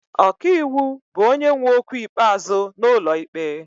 Ọka iwu bụ onye nwe okwu ikpeazụ n'ụlọ ikpe.